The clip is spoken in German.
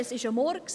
Es ist ein Murks!